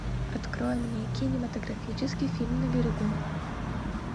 открой мне кинематографический фильм на берегу